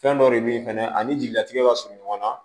Fɛn dɔ de bɛ yen fɛnɛ ani jigilatigɛ ka surun ɲɔgɔn na